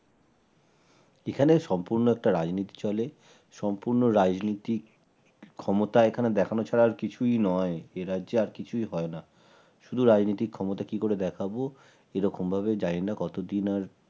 এখানে সম্পূর্ণ একটা রাজনীতি চলে সম্পূর্ণ রাজনীতি ক্ষমতায় এখানে দেখানো ছাড়া আর কিছুই নয় এ রাজ্যে আর কিছুই হয় না শুধু রাজনৈতিক ক্ষমতা কি করে দেখাবো এরকম ভাবে জানিনা কতদিন আর